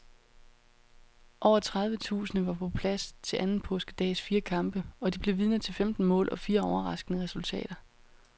Over tredive tusinde var på plads til anden påskedags fire kampe, og de blev vidner til femten mål og fire overraskende resultater.